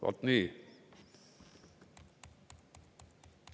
Vaat nii!